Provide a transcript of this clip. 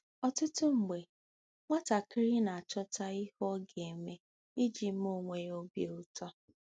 Ọtụtụ mgbe, nwatakịrị na-achọta ihe ọ ga-eme iji mee onwe ya obi ụtọ.